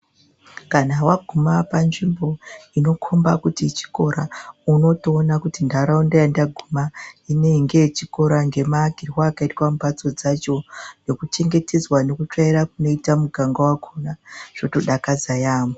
Kana waguma panzvimbo inokomba kuti chikora unotoona kuti ndaraunda yandaguma inenge yechikora ngemaakirwe akaitwa mbatso dzacho nekuchengetedzwa nekutsvaira kunoita muganga wakona zvotodakadza yamho